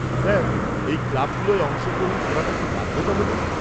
-Sir এই ক্লাবগুলোয় অংশগ্রহণ করাটা কি বাধ্যতামূলক?